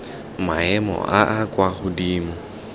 maemo a a kwa godimo